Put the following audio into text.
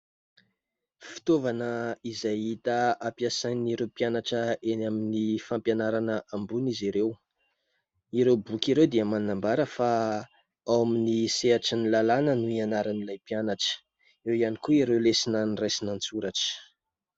Fitaovana izay hita ampiasain'ireo mpianatra eny amin'ny fampianarana ambony izy ireo. Ireo boky ireo dia manambara fa ao amin'ny sehatry ny lalàna no ianaran'ilay mpianatra. Eo ihany koa ireo lesona noraisina an-tsoratra.